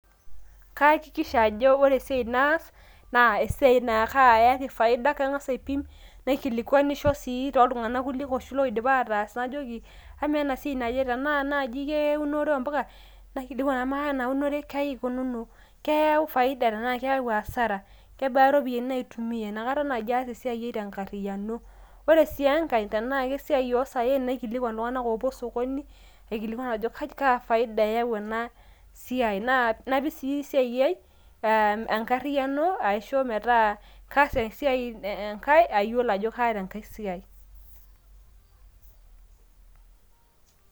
kaakisha ajo ore esiai naas, naa esiai naayaki faida. amu kangas aipim, naikilikuanisho sii tookuulie tunganak oshi loidipa ataas, najoki amaa ena siai naje tenaa naaji keunore oo mpuka, naikilikuan amaa ena unore kaai kununo keyau faida tenaa keyau asara, kebaa iropiyiani naaitumia, tenaa emirare oosaen, naikilikuan iltunganak oopuo sokoni, kaa faida eyau ena, napik sii esiai ai enkariyiano ajo kaas esiai ayiolo ajo kaata enkae siai.